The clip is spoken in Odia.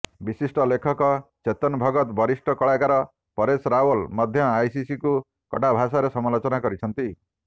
ବିଶିଷ୍ଟ ଲେଖକ ଚେତନ ଭଗତ ବରିଷ୍ଠ କଳାକାର ପରେଶ ରାୱଲ ମଧ୍ୟ ଆଇସିସିକୁ କଡ଼ା ଭାଷାରେ ସମାଲୋଚନା କରିଛନ୍ତି